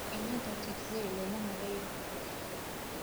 cillada Tietze looma maleynayo in la dhaxlo.